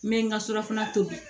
N bɛ n ka surafana tobi